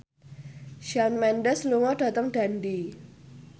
Shawn Mendes lunga dhateng Dundee